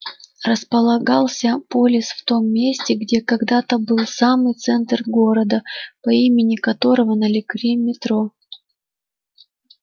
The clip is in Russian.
располагался полис в том месте где когда-то был самый центр города по имени которого нарекли метро